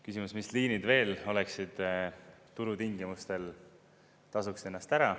Küsimus, mis liinid veel oleksid, turutingimustel tasuks ennast ära.